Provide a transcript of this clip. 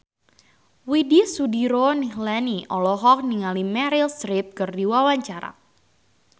Widy Soediro Nichlany olohok ningali Meryl Streep keur diwawancara